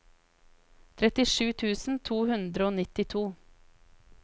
trettisju tusen to hundre og nittito